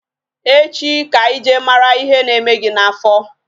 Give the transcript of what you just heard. Echi ka anyi jee mara ihe na-eme gị n'afọ